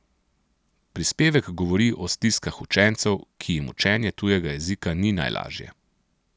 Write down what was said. Prispevek govori o stiskah učencev, ki jim učenje tujega jezika ni najlažje.